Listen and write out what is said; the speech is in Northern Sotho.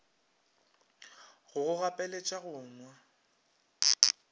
go go gapeletša go nwa